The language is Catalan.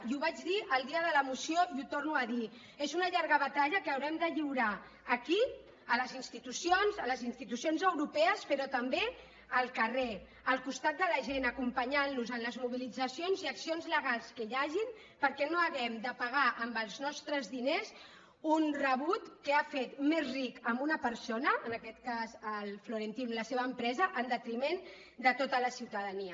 i ho vaig dir el dia de la moció i ho torno a dir és una llarga batalla que haurem de lliurar aquí a les institucions a les institucions europees però també al carrer al costat de la gent acompanyant los en les mobilitzacions i accions legals que hi hagin perquè no hàgim de pagar amb els nostres diners un rebut que ha fet més rica una persona en aquest cas el florentino i la seva empresa en detriment de tota la ciutadania